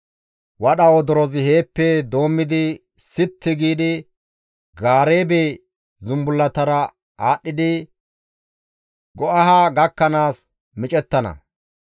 Wadha wodorozi heeppe doommi sitti giidi Gaareebe zumbullatara aadhdhidi Go7aha gakkanaas micettana.